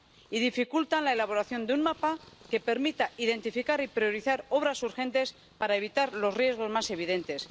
Y dificultan la elaboración de un mapa que permita identificar y priorizar obras urgentes para evitar los riesgos más evidentes.